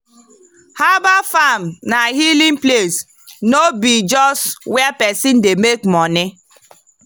herbal farm na healing place no be just where person dey make money.